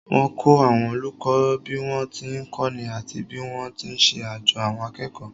Wọ́n kọ́ àwọn olùkọ́ bí wọ́n ti ń kọ́ni àti bí wọ́n ti ń ṣe àjo àwọn akẹ́kọ̀ọ́